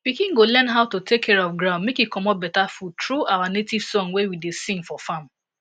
pikin go learn how to take care of ground make e comot better food tru our nativesong wey we da sing for farm